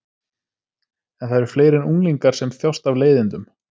En það eru fleiri en unglingar sem þjást af leiðindum.